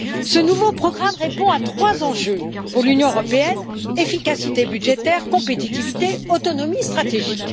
Ce nouveau programme répond à trois enjeux pour l'Union européenne efficacité budgétaire, compétitivité et autonomie stratégique.